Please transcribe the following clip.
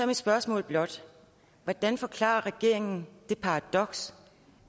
mit spørgsmål blot hvordan forklarer regeringen det paradoks